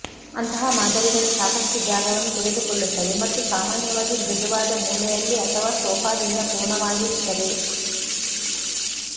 ಅಂತಹ ಮಾದರಿಗಳು ಸಾಕಷ್ಟು ಜಾಗವನ್ನು ತೆಗೆದುಕೊಳ್ಳುತ್ತವೆ ಮತ್ತು ಸಾಮಾನ್ಯವಾಗಿ ಮೃದುವಾದ ಮೂಲೆಯಲ್ಲಿ ಅಥವಾ ಸೋಫಾದಿಂದ ಪೂರ್ಣವಾಗಿರುತ್ತವೆ